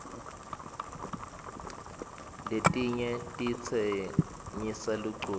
letinyg titsenyisa luculo